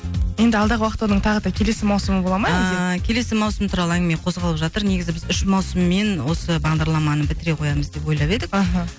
енді алдағы уақытта оның тағы да келесі маусымы болады ма әлде ыыы келесі маусым туралы әңгіме қозғалып жатыр негізі біз үш маусыммен осы бағдарламаны бітіре қоямыз деп ойлап едік аха